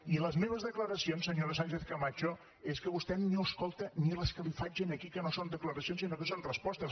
i les meves declaracions senyora sánchez camacho és que vostè no escolta ni les que li faig aquí que no són declaracions sinó que són respostes